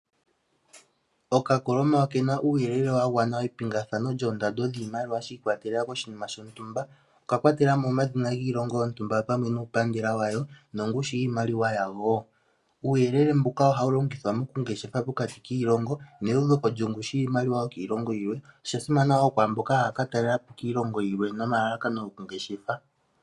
Oka koloma okena uuyelele wa gwana epingathano lyoondando dhiimaliwa shi ikwatelela koshimina shontumba, oka kwatelamo omadhina giilongo yontumba opamwe nuupandela wa wo nongushu yiimaliwa yawo. Uuyelele mbuka oha wu longithwa moku ngeshefa pokati kiilongo ne uveko longushu lyiimaliwa yokiilongo yilwe. Osha simana kwamboka haya ka talelapo kiilongo yimwe nomalalakano goku ngeshefa.